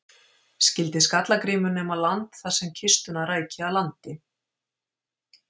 Skyldi Skalla-Grímur nema land þar sem kistuna ræki að landi.